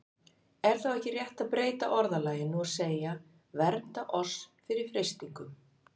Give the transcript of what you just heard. Er þá ekki rétt að breyta orðalaginu og segja: Vernda oss fyrir freistingum?